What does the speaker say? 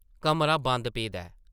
कमरा बंद पेदा ऐ ।